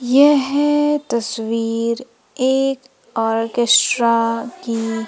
यह तस्वीर एक ऑर्केस्ट्रा की--